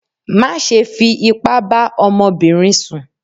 Má ṣe fi ipá bá ọmọbìnrin sùn